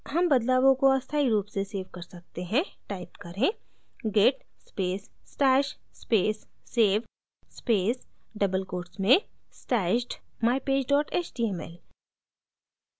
हम बदलावों को अस्थायी रूप से सेव कर सकते हैं टाइप करें git space stash space save space double quotes में stashed mypage html